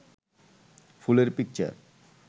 ফুলের পিকচার